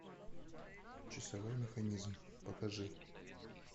часовой механизм покажи